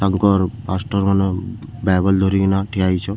ତାଙ୍କର ମାଷ୍ଟର ମାନେ ବାଇବେଲ ଧରିକିନା ଠିଆ ହେଇଛନ୍--